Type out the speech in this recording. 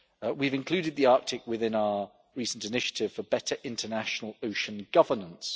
We have included the Arctic within our recent initiative for better international ocean governance.